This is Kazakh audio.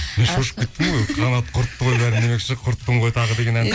мен шошып кеттім ғой қағанат құртты ғой бәрін демекші құрттың ғой тағы деген ән